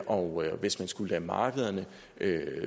og hvis man skulle lade markederne